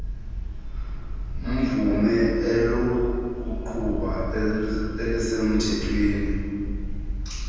mvum elokuqhuba elisemthethweni